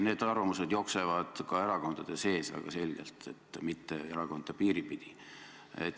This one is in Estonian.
Need arvamused jooksevad ka erakondade sees väga selgelt, mitte erakondade piiri pidi.